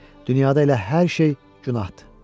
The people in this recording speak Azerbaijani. Dünyada elə hər şey günahdır.